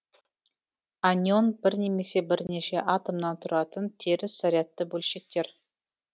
анион бір немесе бірнеше атомнан тұратын теріс зарядты бөлшектер